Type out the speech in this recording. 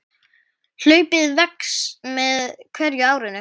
Hlaupið vex með hverju árinu.